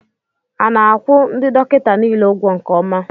A na-akwụ ndị dọkịta niile ụgwọ nke ọma